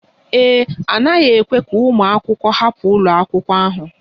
Ee e, a naghị ekwe ka ụmụ akwụkwọ hapụ ụlọ akwụkwọ ahụ